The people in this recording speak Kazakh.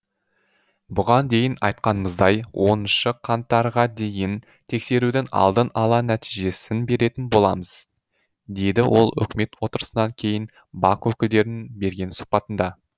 бұған дейін айтқанымыздай оныншы қаңтарға дейін тексерудің алдын ала нәтижесін беретін боламыз деді ол үкімет отырысынан кейін бақ өкілдеріне берген сұхбатында